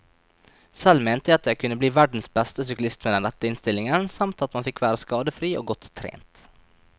Selv mente jeg at jeg kunne bli verdens beste syklist med den rette innstillingen, samt at man fikk være skadefri og godt trent.